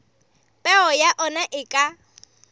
peo ya ona e ka